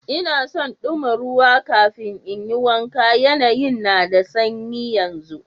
N'na son duma ruwa kafin n'yi wanka, yanayin na da sanyi yanzu.